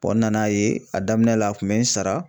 n nan'a ye a daminɛ la a kun bɛ n sara.